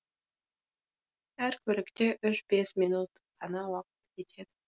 әр көлікке үш бес минут қана уақыт кетеді